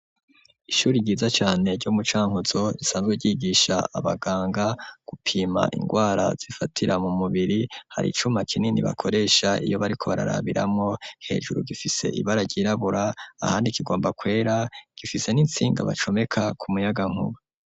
Ihure ryiza cane ryo mu cankuzo isanzwe ryigisha abaganga gupima ingwara zifatira mu mubiri hari icuma kinini bakoresha iyo bariko barabiramwo hejuru gifise ibara ryirabura ahandi kigomba kwera gifise n'insinga bacomeka ku muyagankuba.